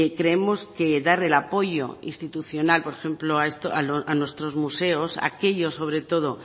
creemos que dar el apoyo institucional por ejemplo a nuestros museos aquellos sobre todo